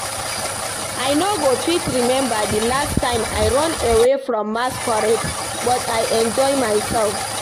I no go fit remember the last time I run away from masquerade but I enjoy myself